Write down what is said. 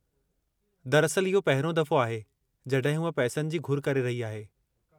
दरअसलु, इहो पहिरियों दफ़ो आहे जॾहिं हूअ पैसनि जी घुर करे रही आहे।